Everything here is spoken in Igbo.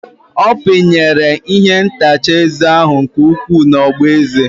Ọ pinyere ihe ntacha eze ahụ nke ukwuu n'ogboeze ya.